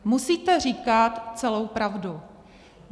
Musíte říkat celou pravdu.